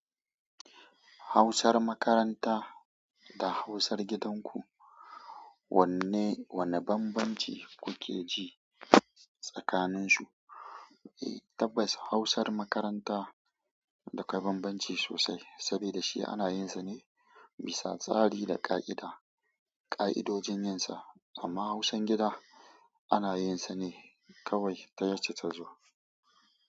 Hausar makaranta da hausar gidan ku, wanne bambamci kuke ji tsakanin su? Eh tabbas hausar makaranta dakwai bambamci sosai, saboda shi ana yin sa ne bisa tsari da ka'ida, ka'idojin yin sa. Amma hausan gida ana yin sa ne kawai ta yace ta zo.